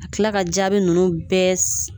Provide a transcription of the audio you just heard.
Ka tila ka jaabi ninnu bɛɛ